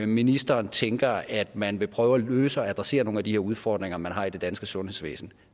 ministeren tænker at man vil prøve at løse og adressere nogle af de her udfordringer man har i det danske sundhedsvæsen